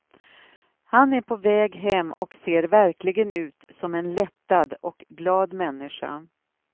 Han är på väg hem och ser verkligen ut som en lättad och glad människa.